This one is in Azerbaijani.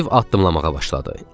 Stiv addımlamağa başladı.